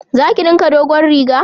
Za ki dinka dogon riga?